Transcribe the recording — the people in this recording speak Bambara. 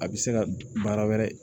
A bɛ se ka baara wɛrɛ